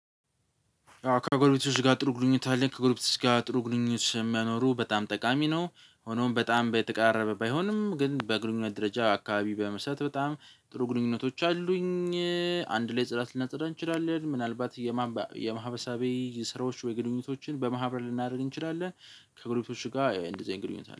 ከጎርቤቶች ጋር ጥሩ ግንኙነት አለህ? ከጎርቤቶች ጋር ጥሩ ግንኙነት መኖሩ በጣም ጠቃሚ ነው። ሆኖም በጣም በየተቀራረበ ባይሆንም ግን በግንኙነት ደረጃ አካባቢ በመስጠት በጣም ጥሩ ግንኙነቶች አሉኝ። አንድ ላይ ጽዳት ልናጽዳ እንችላለን ምናልባት የማህበሳቤ ስራዎች ወይ ግንኙነቶችን በማህበር ልናደርግ እንችላለን። ከግሩፕ ጋር እንደዚህ አይነት ግንኙነት አለ